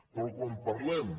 però quan parlem